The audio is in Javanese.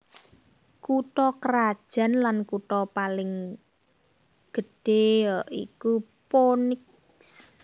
Kutha krajan lan kutha paling gedhéya iku Phoenix